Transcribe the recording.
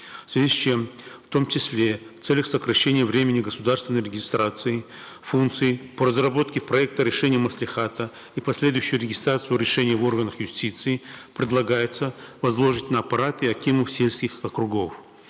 в связи с чем в том числе в целях сокращения времени государственной регистрации функции по разработке проекта решения маслихата и последующую регистрацию решения в органах юстиции предлагается возложить на аппарат и акимов сельских округов